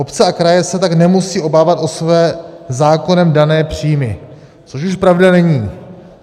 "Obce a kraje se tak nemusí obávat o své zákonem dané příjmy," což už pravda není.